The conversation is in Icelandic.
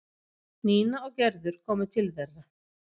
Nína og Gerður komu til þeirra.